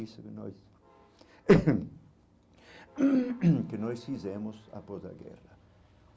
Isso que nós que nós fizemos após a guerra.